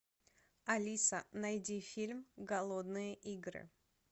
алиса найди фильм голодные игры